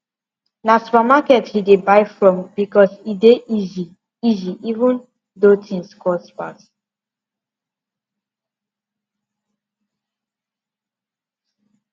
na supermarket he dey buy from because e dey easy easy even though things cost pass